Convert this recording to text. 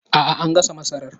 Aa, an gasa masarar